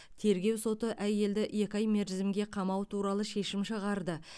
тергеу соты әйелді екі ай мерзімге қамау туралы шешім шығарды